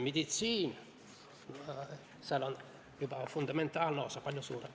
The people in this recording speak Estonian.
Meditsiinis on fundamentaalne osa juba palju suurem.